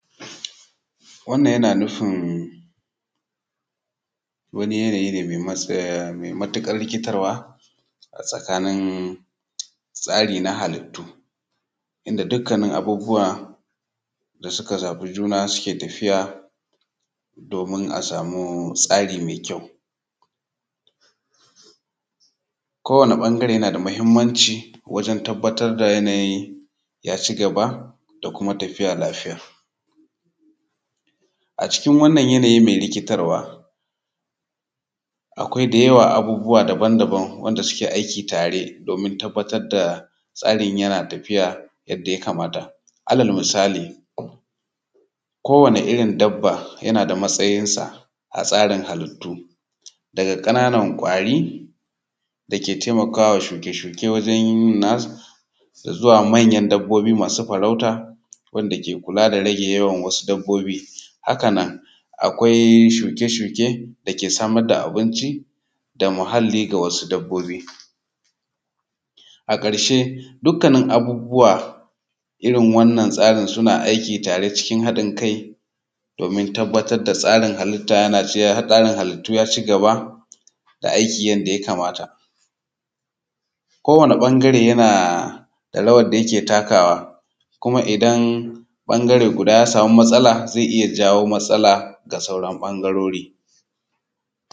Wannan yana nufin wani yanayi ne mai matuƙar rikitarwa a tskani halittu, inda dukkanin abubuwa da suka zabi juma suke tafiya domin a samu tsari mai ƙyau. Kowanne ɓangare yana da matuƙar mahimmanci domin a sama yanayin ya ci gaba da kuma tafiya lafiya. A cikin wannan yana yi mai rikitarwa akwai da yawa abubuwa daban-daban wanda suke aiki tare domin tabbatar da tsarin yana tafiya yadda ya kamata. Alal misali kowane irin dabba yana da matsayinsa a tsarin halitu fwga ƙananan ƙwari da ke taimakawa tsirai wajen yin zuwa manyan dabbobi masu farauta wanda ke kula da rai na wasu dabbobi. Kana akwai akwai shuke-shuke da yake samar da abinci da muhalli ga wasu dabbobi. A ƙarshe dukkanin abubuwa a irin wannan tsari suna aiki tare cikin haɗin kai domin tabbatar da tsarin halittu ya ci gaba da aiki yadda ya kamata. Kowanne ɓangare yana da rawar da yake takawa kuma idan ɓangare guda ya sama matsala zai iya jawo matsala ga sauran ɓangarorin.